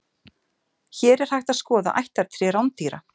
Hér er hægt að skoða ættartré rándýra.